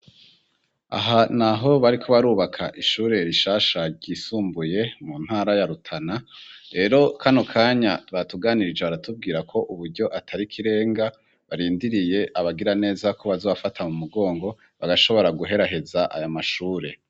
Aha ni aho bariko barubaka ishure rishasha ryisumbuye mu ntara ya Rutana rero kano kanya batuganirije baratubwira ko uburyo atari ikirenga barindiriye abagira neza ko bazobafata mu mugongo bagashobora guheraheza aya mashure.